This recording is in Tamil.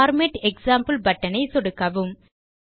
பார்மேட் எக்ஸாம்பிள் பட்டன் ஐ சொடுக்கவும்